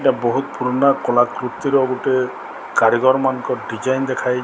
ଏହା ବହୁତ ପୁରୁଣା କଳାକୃତି ର ଗୋଟେ କାରିଗର ମାନଙ୍କ ଡିଜାଇନ ଦେଖାହେଇ --